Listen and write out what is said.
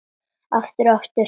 Aftur og aftur.